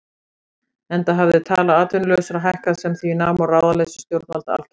Enda hafði tala atvinnulausra hækkað sem því nam og ráðaleysi stjórnvalda algert.